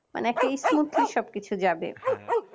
মানে একটা ই smoothly সবকিছু যাবে